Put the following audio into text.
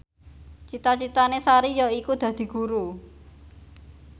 cita citane Sari yaiku dadi guru